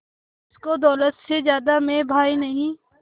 जिसको दौलत से ज्यादा मैं भाई नहीं